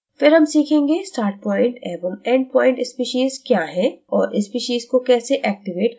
फिर हम सीखेंगे startpoint एवं endpoint speciesक्या है और species को कैसे activate करते हैं